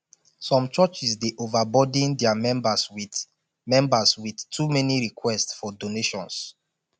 some churches dey overburden dia members with members with too many request for donations